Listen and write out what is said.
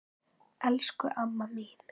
Elsku amma mín.